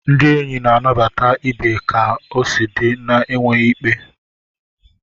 Ndị enyi na-anabata ibe ka o si di, na-enweghị ikpe.